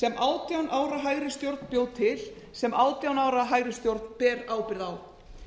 sem átján ára hægri stjórn bjó til sem átján ára hægri stjórn ber ábyrgð á